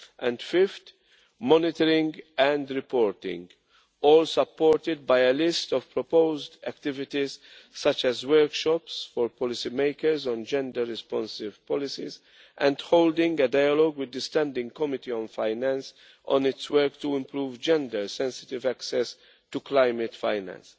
And fifth, monitoring and reporting, all supported by a list of proposed activities such as workshops for policymakers on gender-responsive policies and holding a dialogue with the standing committee on finance on its work to improve gender-sensitive access to climate finance.